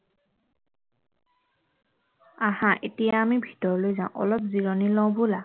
আঁহা এতিয়া আমি ভিতৰলৈ যাওঁ অলপ জিৰণি লওঁ বলা